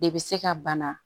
De bɛ se ka bana